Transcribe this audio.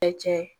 Bɛɛ cɛ